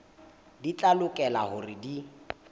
di tla lokela hore di